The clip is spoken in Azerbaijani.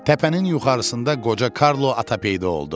Təpənin yuxarısında qoca Karlo ata peyda oldu.